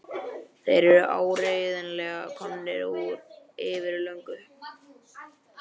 Þeir eru áreiðanlega komnir úr fyrir löngu.